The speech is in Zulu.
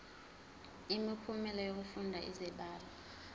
imiphumela yokufunda izibalo